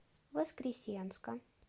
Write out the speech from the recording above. воскресенска